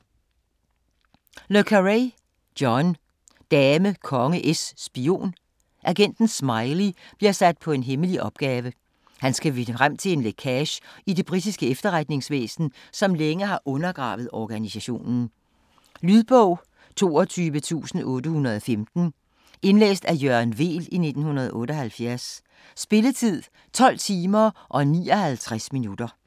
Le Carré, John: Dame konge es spion Agenten Smiley bliver sat på en hemmelig opgave, han skal finde frem til en lækage i det britiske efterretningsvæsen, som længe har undergravet organisationen. Lydbog 22815 Indlæst af Jørgen Weel, 1978. Spilletid: 12 timer, 59 minutter.